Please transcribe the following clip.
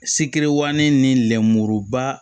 Sikɛriwin ni lɛmuruba